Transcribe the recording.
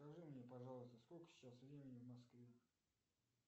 скажи мне пожалуйста сколько сейчас времени в москве